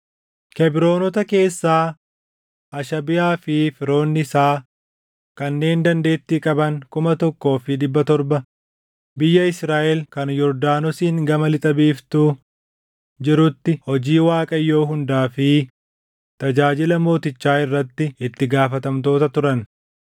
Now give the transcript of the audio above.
Kebroonota keessaa: Hashabiyaa fi firoonni isaa kanneen dandeettii qaban kuma tokkoo fi dhibba torba biyya Israaʼel kan Yordaanosiin gama lixa biiftuu jirutti hojii Waaqayyoo hundaa fi tajaajila mootichaa irratti itti gaafatamtoota turan.